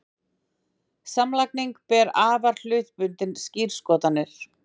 samlagning ber afar hlutbundnar skírskotanir